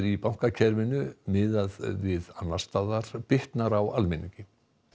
í bankakerfinu miðað við annars staðar bitnar á almenningi